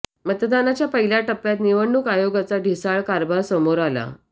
मतदानाच्या पहिल्या टप्प्यात निवडणूक आयोगाचा ढिसाळ कारभार समोर आला